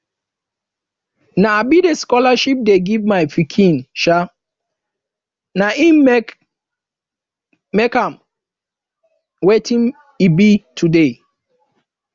na um the scholarship dey give my pikin um na im make am wetin e be today